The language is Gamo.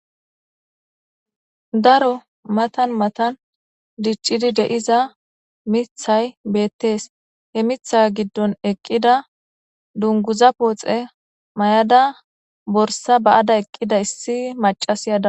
daro matan matan diccidi de7iza mithay beettees he mitha giddon eqqida dunguza pooxe may7ada borsa ba7ada eqqida issi macasi ada